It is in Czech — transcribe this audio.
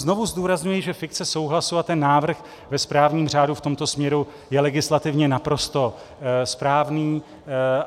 Znovu zdůrazňuji, že fikce souhlasu a ten návrh ve správním řádu v tomto směru je legislativně naprosto správný.